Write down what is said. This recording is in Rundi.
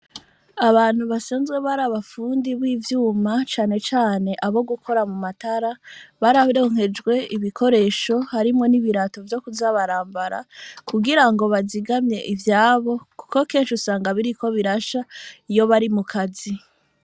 Abantu basanzwe bari abafundi b'ivyuma, cane cane abo gukora mu matara, bararonkejwe ibikoresho harimwo n'ibirato vyo kuza barambara, kugira ngo bazigamye ivyabo kuko kenshi usanga biriko birasha iyo bari mu kazi.